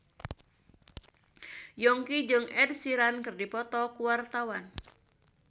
Yongki jeung Ed Sheeran keur dipoto ku wartawan